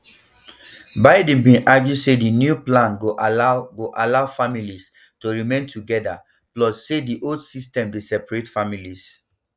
biden bin argue say di new plan go allow go allow families to remain together plus say di old system dey separate families